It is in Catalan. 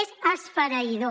és esfereïdor